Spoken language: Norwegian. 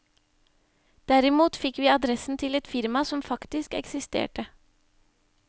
Derimot fikk vi adressen til et firma som faktisk eksisterte.